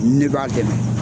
Ne b'a dɛmɛ.